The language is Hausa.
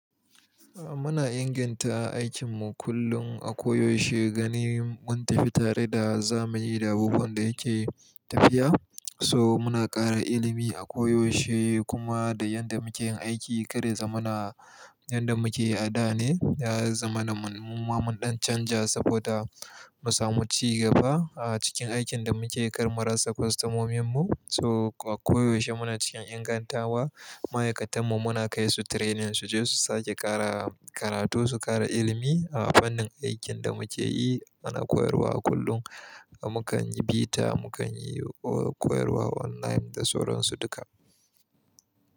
A muna inganta aikinmu kullum a koyaushe ganin mun tafi tare da zamani da abubuwan da yake tafiya. To muna ƙara ilimi a ko yaushe kuma da yanda muke yin aiki kar ya zamana yanda muke yi a da ne, ya zama na muma mun ɗan canja saboda mu samu ci gaba a cikin aikin da muke yi kar murasa kwastomominmu. So a koyaushe muna cikin ingantawa, ma'aikatanmu muna kai su training su je su sake ƙara karatu su ƙara ilimi a fannin aikin da muke yi. Muna koyarwa a kullum, mu kan yi bita mu kan yi o koyarwa online da sauran su duka.